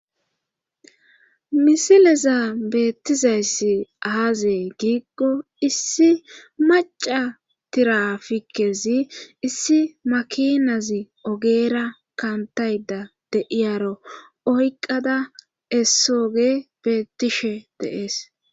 misileza beettizayssi aazee giiggo issi maca tirafikezi issi makinazi ogeera kantayda deiyaro oykqada essoge beettishe deees